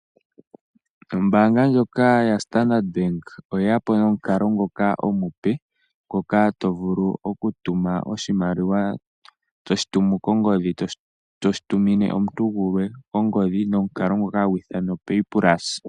Ombaanga ndjoka yaStandard Bank oye yapo nomukalo ngoka omupe, ngoka tovulu okutuma oshimaliwa toshitumu kongodhi toshi tumine omuntu gulwe kongodhi nomukalo ngoka ha gwiithanwa opaypulse.